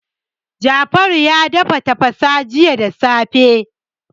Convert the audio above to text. Jafaru ya dafa tafasa jiya da safe.